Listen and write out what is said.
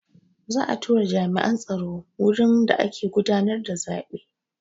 Za'a tura jami'an tsaro wurin da ake gudanar da zaɓe.